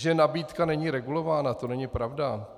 Že nabídka není regulována, to není pravda.